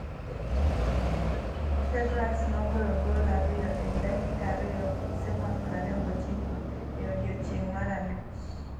Fabregas nogoyo goal ariyo ei dakika ariyo gi sekon 29. e odiechieng’ mar abich.